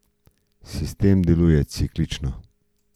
Sistem deluje ciklično.